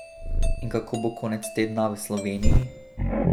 In kako bo konec tedna v Sloveniji?